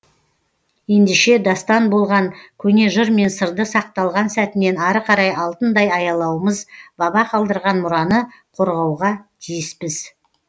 ендеше дастан болған көне жыр мен сырды сақталған сәтінен ары қарай алтындай аялауымыз баба қалдырған мұраны қорғауға тиіспіз